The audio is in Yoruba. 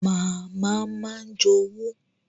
Màmá máa ń jowú